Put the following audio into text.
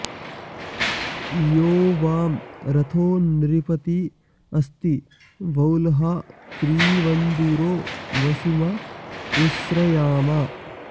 यो वां॒ रथो॑ नृपती॒ अस्ति॑ वो॒ळ्हा त्रि॑वन्धु॒रो वसु॑माँ उ॒स्रया॑मा